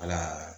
Ala